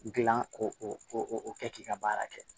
Gilan ko o kɛ k'i ka baara kɛ